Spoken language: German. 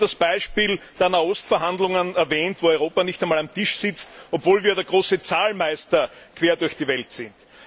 Es wurde das Beispiel der Nahost Verhandlungen erwähnt, wo Europa nicht einmal am Tisch sitzt, obwohl wir der große Zahlmeister quer durch die Welt sind.